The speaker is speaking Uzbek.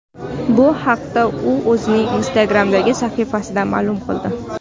Bu haqda u o‘zining Instagram’dagi sahifasida ma’lum qildi .